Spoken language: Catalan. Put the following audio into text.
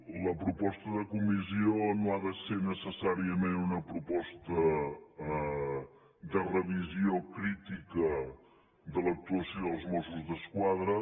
la proposta de comissió no ha de ser necessàriament una proposta de revisió crítica de l’actuació dels mossos d’esquadra